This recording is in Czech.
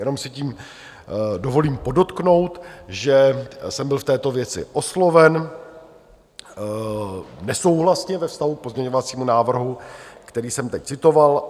Jenom si tím dovolím podotknout, že jsem byl v této věci osloven nesouhlasně ve vztahu k pozměňovacímu návrhu, který jsem teď citoval.